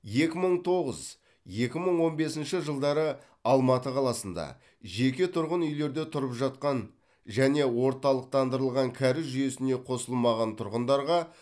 екі мың тоғыз екі мың он бесінші жылдары алматы қаласында жеке тұрғын үйлерде тұрып жатқан және орталықтандырылған кәріз жүйесіне қосылмаған тұрғындарға